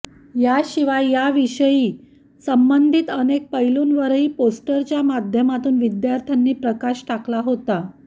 याशिवाय या विषयाशी संबंधित अनेक पैलूंवरही पोस्टरच्या माध्यमातून विद्यार्थ्यांनी प्रकाश टाकला होता